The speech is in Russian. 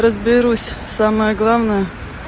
разберусь самое главное